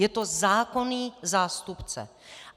Je to zákonný zástupce.